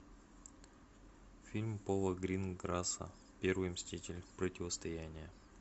фильм пола гринграсса первый мститель противостояние